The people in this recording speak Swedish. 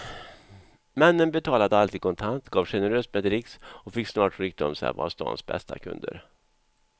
Männen betalade alltid kontant, gav generöst med dricks och fick snart rykte om sig att vara stadens bästa kunder.